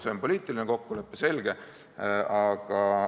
See on poliitiline kokkulepe, selge.